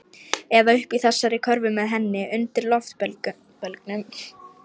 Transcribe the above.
Eða uppi í þessari körfu með henni. undir loftbelgnum.